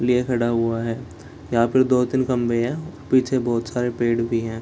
लिए खड़ा हुआ है । यहाँ पर दो-तीन खंबे है पीछे बहुत सारे पेड़ भी है ।